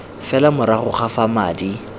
fela morago ga fa madi